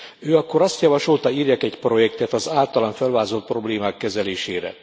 Ő akkor azt javasolta, írjak egy projektet az általam felvázolt problémák kezelésére.